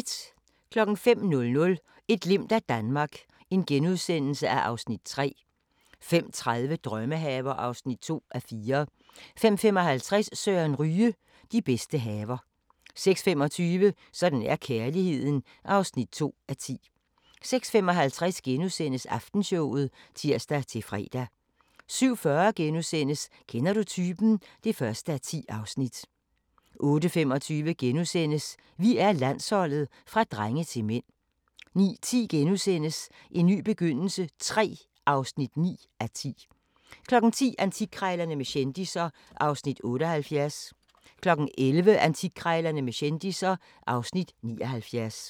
05:00: Et glimt af Danmark (Afs. 3)* 05:30: Drømmehaver (2:4) 05:55: Søren Ryge: De bedste haver 06:25: Sådan er kærligheden (2:10) 06:55: Aftenshowet *(tir-fre) 07:40: Kender du typen? (1:10)* 08:25: Vi er Landsholdet – fra drenge til mænd * 09:10: En ny begyndelse III (9:10)* 10:00: Antikkrejlerne med kendisser (Afs. 78) 11:00: Antikkrejlerne med kendisser (Afs. 79)